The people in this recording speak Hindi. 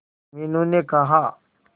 मीनू ने कहा